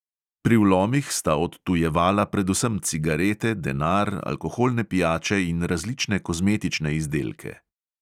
Pri vlomih sta odtujevala predvsem cigarete, denar, alkoholne pijače in različne kozmetične izdelke.